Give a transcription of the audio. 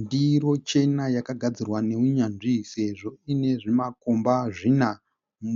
Ndiro chena yakagadzirwa nehunyanzvi sezvo ine zvimakomba zvina.